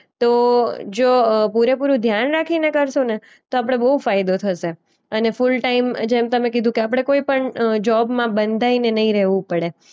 તો જો એ પૂરેપૂરું ધ્યાન રાખીને કરશું ને તો આપણે બોઉ ફાયદો થશે અને ફૂલ ટાઈમ જેમ તમે કીધું કે આપણે કોઈ પણ અ જોબમાં બંધાઈને ને નઈ રહેવું પડે.